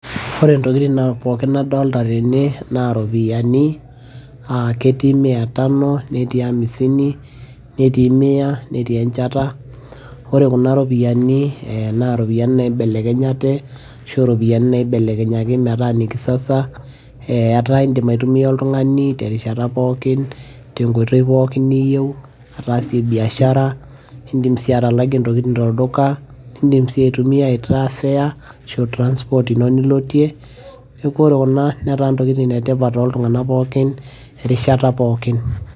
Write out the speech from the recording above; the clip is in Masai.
ore ntokitin pookin nadolita tena naa iropiyiani, ketii mia tano netii amisini, netiii mia netii enchata, ore kuna ropiyiani naa iropiyiani naibelekenyate, arashu iropiyiani naibelekenyaki metaa ine kisasa. etaa idim aitumia oltungani terishat pookin. tenkoitoi pookin niyieu ataasie biashara, idim sii atalike intokitin tolduka. idim sii aitumia aitaa fare ashu aa transport ino nilotie, neeku ore kuna netaa ntokitin etipat tooltunganak pookin erishata pookin.